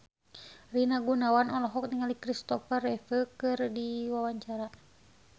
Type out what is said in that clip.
Rina Gunawan olohok ningali Christopher Reeve keur diwawancara